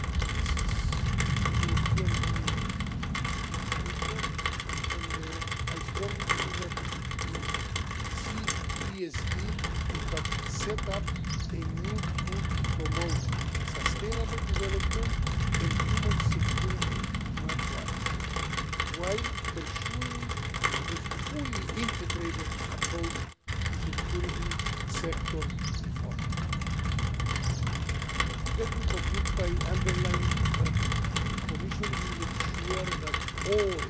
This is the European way to development, and I strongly believe that with CBSD we have set up a new tool to promote sustainable development and human security worldwide, while pursuing a fully integrated approach to security sector reform. Let me conclude by underlining that the Commission will ensure that